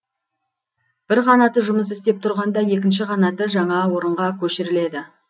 бір қанаты жұмыс істеп тұрғанда екінші қанаты жаңа орынға көшіріледі